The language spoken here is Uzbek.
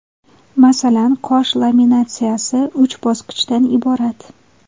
Masalan, qosh laminatsiyasi uch bosqichdan iborat.